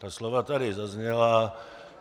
Ta slova tady zazněla.